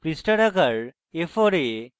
পৃষ্ঠার আকার a4 এ